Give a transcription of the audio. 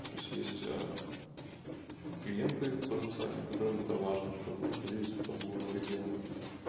тоесть есть клиенты потенциальные которым это важно чтоб мы находились в том городе где он